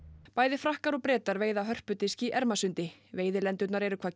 bæði Frakkar og Bretar veiða hörpudisk í Ermarsundi veiðilendurnar eru hvað